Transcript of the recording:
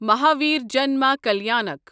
مہاور جنما کلیانک